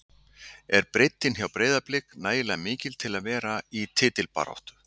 Er breiddin hjá Breiðablik nægilega mikil til að vera í titilbaráttu?